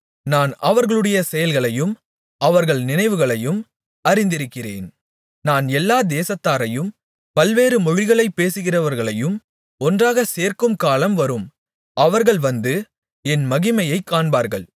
நான் அவர்களுடைய செயல்களையும் அவர்கள் நினைவுகளையும் அறிந்திருக்கிறேன் நான் எல்லா தேசத்தாரையும் பல்வேறு மொழிகளைப் பேசுகிறவர்களையுங் ஒன்றாகச் சேர்க்கும்காலம் வரும் அவர்கள் வந்து என் மகிமையைக் காண்பார்கள்